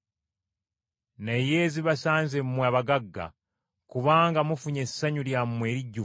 “Naye zibasanze mmwe abagagga, kubanga mufunye essanyu lyammwe erijjuvu.